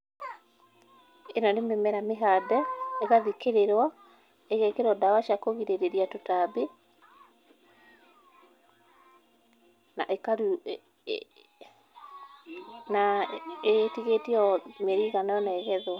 Ĩno nĩ mĩmera mĩhande, ĩgathikĩrĩrwo, ĩgekĩrwo ndawa cia kũgirĩrĩria tũtambi na ĩtigĩtie o mĩeri ĩigana ona ĩgethwo.